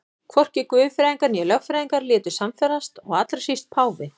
Hvorki guðfræðingar né lögfræðingar létu sannfærast og allra síst páfi.